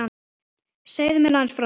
Segðu mér aðeins frá því.